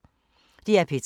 DR P3